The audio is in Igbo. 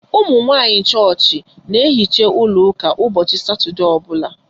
Umunwanyi chọọchị n'ehicha ụlọ ụka ụbọchị satọdee ọbula